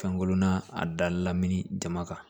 Kankurunna a da la lamini jama kan